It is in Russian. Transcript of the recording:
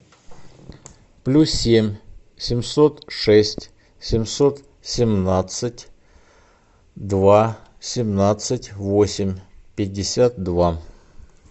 плюс семь семьсот шесть семьсот семнадцать два семнадцать восемь пятьдесят два